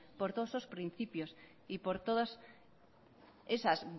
por todos esos principios y por todas esas